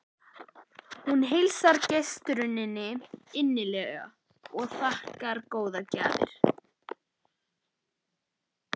Hún heilsar gestarununni innilega og þakkar góðar gjafir.